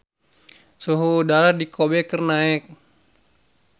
Suhu udara di Kobe keur naek